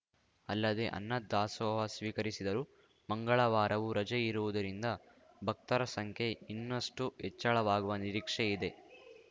ಅಲ್ಲದೆ ಅನ್ನ ದಾಸೋಹ ಸ್ವೀಕರಿಸಿದರು ಮಂಗಳವಾರವೂ ರಜೆ ಇರುವುದರಿಂದ ಭಕ್ತರ ಸಂಖ್ಯೆ ಇನ್ನಷ್ಟುಹೆಚ್ಚಳವಾಗುವ ನಿರೀಕ್ಷೆ ಇದೆ